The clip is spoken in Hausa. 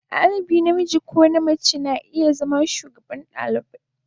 Dalibi namiji ko mace na iya zama shugaban dalibai.